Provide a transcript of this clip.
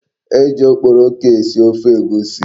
E ji okporoko esi ofe Egwusi.